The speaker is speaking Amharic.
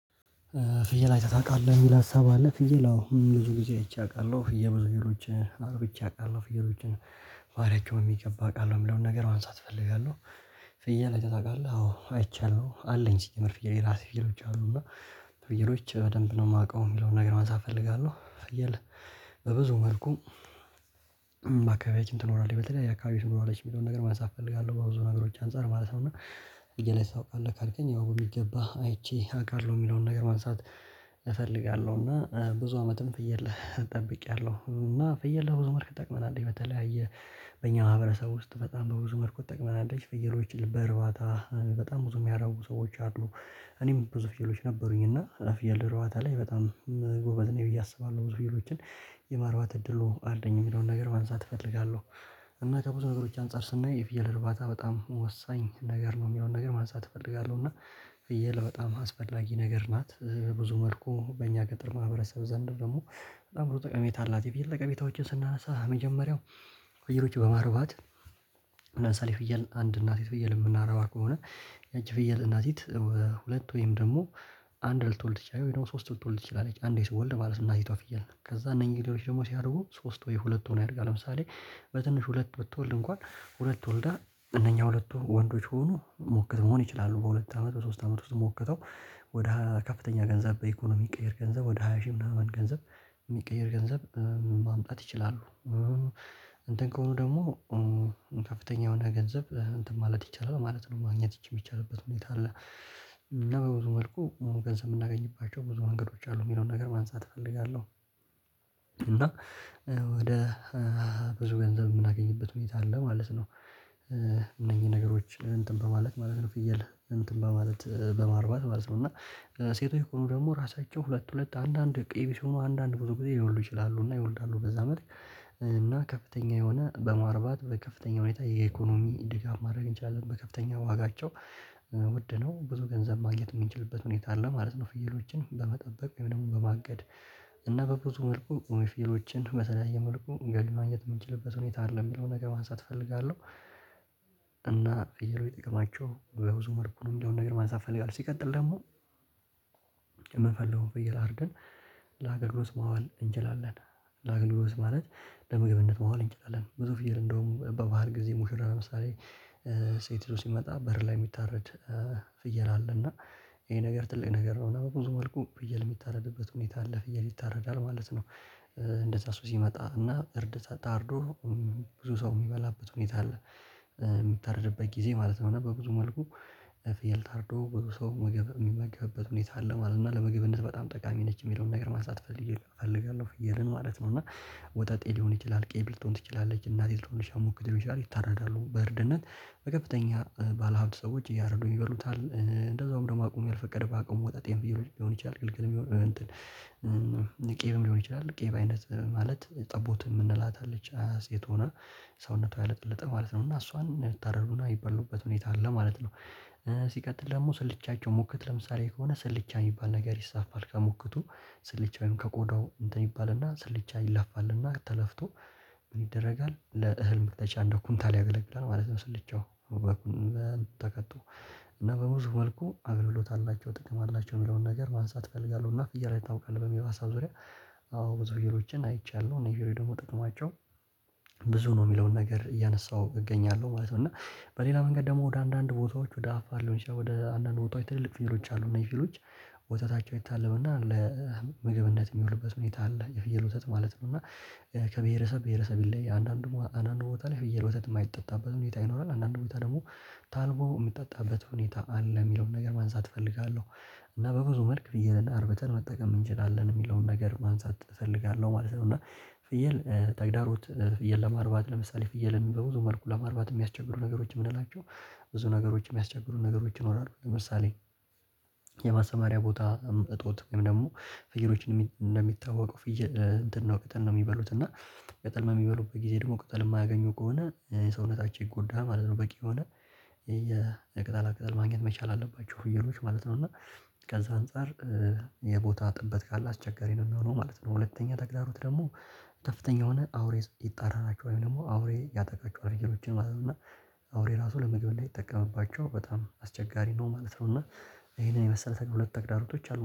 ፍየል አይተህ ታውቃለህ የሚል ሀሳብ አለ? ፍየል አዎ ብዙ ጊዜ አይቼ አውቃለሁ ፍየል ብዙ ጊዜ ሌሎች አጥብቼ አውቃለሁ ፍየሎችን ባህርያቸውን ሚገባ አውቃለሁ የምለውን ነገር ማንሳት እፈልጋለሁ። ፍየል አይተህ ታውቃለሁ አዎ አይቻለሁ አለኝ ሲጀመር ፍየል የራሴ ፍየሎች አሉ እና ፍየሎች በደንብ ነው የማውቀው የሚለውን ነገር ማንሳት ፈልጋለሁ። ፊየል በብዙ መልኩ በአካባቢዎችን ትኖራለች በተለያየ አካባቢዎች ትኖራለች የሚለውን ነገር ማንሳት እፈልጋለሁ በብዙ ነገሮች አንፃር ማለት ነው። እና ፍየል አይተህ ታውቃለህ ካልከኝ ያው በሚገባ አይቼ አውቃለሁ የሚለውን ነገር ማንሳት እፈልጋለሁ። እና ብዙ አመትም ፍየል ጠብቄያለሁ እና ፍየል በብዙ መልኩ ይጠቅመናል በተለያየ በእኛ ማህበረሰብ ውስጥ በጣም በብዙ መልኩ ትጠቅመናለች ፍየሎች በእርባታ በጣም ብዙ የሚያረቡ ሰዎች አሉ። እኔም ብዙ ፍየሎች ነበሩኝ እና አፍየል እርባታ ላይ በጣም ጎበዝ ነኝ ብዬ አስባለሁ ብዙ ፍየሎችን የማርባት እድሉ አለኝ የሚለውን ነገር ማንሳት እፈልጋለሁ። እና ከብዙ ነገሮች አንፃር ስናይ የፍየል እርባታ በጣም ወሳኝ ነገር ነው የሚለውን ነገር ማንሳት እፈልጋለሁ። እና ፍየለ በጣም አስፈላጊ ነገር ናት ብዙ መልኩ በእኛ ገጠር ማህበረሰብ ዘንድ ደግሞ በጣም ብዙ ጠቀሜታ አላት። የፍየል ጠቀሜታዎችን ስናነሳ መጀመሪያው ፍየሎች በማርባት ለምሳሌ ፍየል አንድ እናቲት ፍየል የምናረባ ከሆነ ያቺ ፍየል እናቲት ሁለት ወይም ደግሞ አንድ ልትወልድ ትችላለች ወይም ደግሞ ሶስት ልትወልድ ትችላለች። አንዴ ስትወልድ ማለት እናትቷ ፍየል ከዛ እነኚህ ሌሎች ደግሞ ሲያድጉ ሶስት ወይ ሁለት ሆነው ያድጋሉ ለምሳሌ በትንሽ ሁለት ብትወልድ እንኳን ሁለት ወልዳ እነኛ ሁለቱ ወንዶች ከሆኑ ሞክት መሆን ይችላሉ። በሁለት አመት በሶስት አመት ውስጥ ሞክተው ወደ ከፍተኛ ገንዘብ በኢኮኖሚ የሚቀየር ገንዘብ ወደ ሃያ ሺህ ምናምን ገንዘብ የሚቀየር ገንዘብ ማምጣት ይችላሉ። እንትን ከሆኑ ደግሞ ከፍተኛ የሆነ ገንዘብ እንትን ማለት ይቻላል ማለት ነው ማግኘት የሚቻልበት ሁኔታ አለ። እና በብዙ መልኩ ገንዘብ የምናገኝባቸው ብዙ መንገዶች አሉ የሚለውን ነገር ማንሳት እፈልጋለሁ። እና ወደ ብዙ ገንዘብ የምናገኝበት ሁኔታ አለ ማለት ነው። እነዚህ ነገሮች እንትን በማለት ማለት ነው ፍየል እንትን በማለት በማርባት ማለት ነው። እና ሴቶች ከሆኑ ደግሞ ራሳቸው ሁለት ሁለት አንዳንድ ቅይብ ሲሆኑ አንዳንድ ብዙ ጊዜ ሊወልዱ ይችላሉ። እና ይወልዳሉ በዛ መልክ እና ከፍተኛ የሆነ በማርባት በከፍተኛ ሁኔታ የኢኮኖሚ ድጋፍ ማድረግ እንችላለን። በከፍተኛ ዋጋቸው ውድ ነው ብዙ ገንዘብ ማግኘት የምንችልበት ሁኔታ አለ ማለት ነው። ፍየሎችን በመጠበቅ ወይም ደግሞ በማገድ እና በብዙ መልኩ እውነት ፍየሎችን በተለያየ መልኩ እንግዲህ ማግኘት የምንችልበት ሁኔታ አለ የሚለውን ነገር ማሳት እፈልጋለሁ። እና ፍየሎች ጥቅማቸው በብዙ መልኩ ነው የሚለውን ነገር ማንሳት ፈለጋለሁ። ሲቀጥል ደግሞ የምንፈልገውን ፍየል አርደን ለአገልግሎት ማዋል እንችላለን ለአገልግልት ማለት ለምግብነት ማዋል እንችላለን። ብዙ ፍየል እንደውም በባህል ጊዜ ሙሽራ ለምሳሌ ሴት ይዞ ሲመጣ በር ላይ የሚታረድ ፍየል አለ። እና ይሄ ነገር ትልቅ ነገር ነው እና በብዙ መልኩ ፍየል የሚታረድበት ሁኔታ አለ ፍየል ይታረዳል ማለት ነው። እንደዛ ሰው ሲመጣ እና እርድ ታርዶ ብዙ ሰው የሚበላበት ሁኔታ አለ። የምታረድበት ጊዜ ማለት ነው በብዙ መልኩ ፊየል ታርዶ ብዙ ሰው ምግብ የሚመገብበት ሁኔታ አለ ማለት ነው። እና ለምግብነት በጣም ጠቃሚ ነች የሚለውን ነገር ማሳጣት ፈልጌያለሁ። ፍየልን ማለት ነው እና ወጠጤ ሊሆን ይችላል ቀይብ ልቶን ትችላለች እናቲቱ ልትሆን ይችላል ሙክት ሊሆን ይችላል ይታረዳሉ በእርድነት በከፍተኛ ባለሀብት ሰዎች እያረዱ ይበሉታል እንደዛውም ደግሞ አቅሙ ያልፈቀደ በአቅሙ ወጠጤ ፍየሎች ይችላል ግልግል የሚሆን እንትን ቄብም ሊሆን ይችላል ቄብ አይነት ማለት ጠቦት የምንላት አለች ሴት ሆና ሰውነቷ ያለጠለጠ ማለት ነው እና እሷን የምታረዱና የሚበሉበት ሁኔታ አለ ማለት ነው። ሲቀጥል ደግሞ ስልቻቸው ሙከት ለምሳሌ ከሆነ ስልቻ የሚባል ነገር ይሳፋል ከሙከቱ ስልቻውን ከቆዳው እንትን ይባልና ስልቻ ይላፋልና ተለፍቶ ምን ይደረጋል ለእህል መፍጫ እንደ ኩንታል ያገለግላል ማለት ነው። ስልቻው በኩንታ ተከቶ እና በብዙ መልኩ አገልግሎት አላቸው ጥቅም አላቸው የሚለውን ነገር ማንሳት እፈልጋለሁ። እና ፍየል አይተህ ታውቃለህ በሚለው ሀሳብ ዙሪያ ብዙ ፍየሎችን አይቻለሁ እና ይሄ ደግሞ ጥቅማቸው ብዙ ነው የሚለውን ነገር እያነሳሁ እገኛለሁ ማለት ነው። እና በሌላ መንገድ ደግሞ ወደ አንዳንድ ቦታዎች ወደ አፋር ሊሆን ይችላል ወደ አንዳንድ ቦታዎች ትልልቅ ፊየሎች አሉ እነዚህ ፊሎች ወተታቸው ይታለብና ለምግብነት የሚውልበት ሁኔታ አለ። የፍየል ውሰት ማለት ነውና ከብሄረሰብ ብሄረሰብ ላይ አንዳንድ ቦታ አንዳንድ ቦታ ላይ የፍየል ወተት ማይጠጣበት ሁኔታ ይኖራል። አንዳንድ ሁኔታ ደግሞ ታልቦ የምጠጣበት ሁኔታ አለ የሚለውን ነገር ማንሳት እፈልጋለሁ። እና በብዙ መልክ ፍየልን አርብተን መጠቀም እንችላለን የሚለውን ነገር ማንሳት እፈልጋለሁ ማለት ነው። እና ጥያቄ ተግዳሮት ፍየል ለማርባት ለምሳሌ ፍየልን በብዙ መልኩ ለማርባት የሚያስቸግሩ ነገሮች የምንላቸው ብዙ ነገሮች የሚያስቸግሩ ነገሮች ይኖራሉ። ለምሳሌ የማሰማሪያ ቦታ እጦት ወይም ደግሞ ፍይሎችን እንደሚታወቀው ፍየል እንትን ነው ቅጠል ነው የሚበሉት እና ቅጠል ነው በሚበሉበት ጊዜ ደግሞ ቅጠል የማያገኙ ከሆነ ሰውነታቸው ይጎዳል ማለት ነው። በቂ የሆነ የቅጠላቅጠል ማግኘት መቻል አለባቸው ፍየሎች ማለት ነው። እና ከዛ አንፃር የቦታ ጥብት ካለ አስቸጋሪ ነው የሚሆነው ማለት ነው። ሁለተኛ ተግዳሮት ደግሞ ከፍተኛ የሆነ አውሬ ይጣራቸው ወይም ደግሞ አውሬ ያጠቃቸዋል ፍየሎችን ማለት ነው። እና አውሬ ራሱ ለምግብ እንዳይጠቀምባቸው በጣም አስቸጋሪ ነው ማለት ነው። እና ይሄንን የመሰለ ተገ ሁለት ተግዳሮቶች አሉ